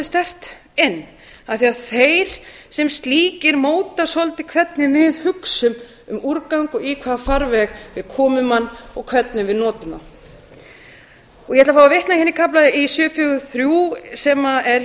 sterkt inn af því að þeir sem slíkir móta svolítið hvernig við hugsum um úrgang og í hvaða farveg við komum honum og hvernig við notum ég ætla að fá að vitna hérna í kafla í sjö fjögur þrjú sem er